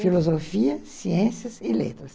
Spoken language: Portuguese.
Filosofia, ciências e letras.